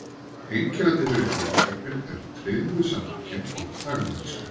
Einkennandi fyrir félagsskapinn er tryggð við samtökin og þagmælska.